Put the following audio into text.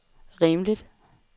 rimeligt